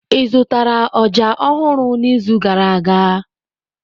Ị zụtara ọjà ọhụrụ n'izu gara aga?